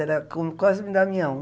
Era como Cosmo e Damião.